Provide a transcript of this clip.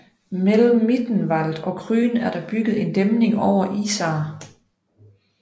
Mellem Mittenwald og Krün er der bygget en dæmning over Isar